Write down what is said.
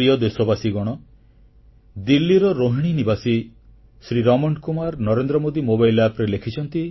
ମୋ ପ୍ରିୟ ଦେଶବାସୀଗଣ ଦିଲ୍ଲୀର ରୋହିଣୀ ଅଞ୍ଚଳରେ ରହୁଥିବା ନିବାସୀ ଶ୍ରୀ ରମଣ କୁମାର ନରେନ୍ଦ୍ରମୋଦୀ App ରେ ଲେଖିଛନ୍ତି